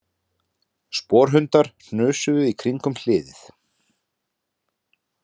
Sporhundar hnusuðu í kringum hliðið